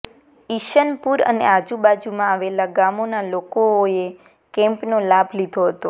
ઇસનપુર અને આજુબાજુમા આવેલા ગામોના લોકો અે આ કેમ્પનો લાભ લીધો હતો